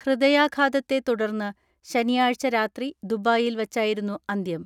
ഹൃദയാഘാതത്തെ തുടർന്ന് ശനിയാഴ്ച രാത്രി ദുബായിൽ വച്ചായിരുന്നു അന്ത്യം.